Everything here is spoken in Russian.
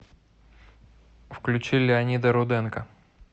включи леонида руденко